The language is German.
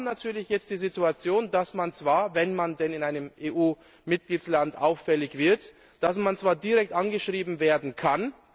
Wir haben natürlich jetzt die Situation, dass man zwar, wenn man in einem EU Mitgliedsland auffällig wird, direkt angeschrieben werden kann.